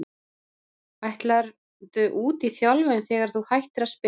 Ætlarðu út í þjálfun þegar að þú hættir að spila?